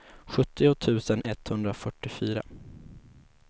sjuttio tusen etthundrafyrtiofyra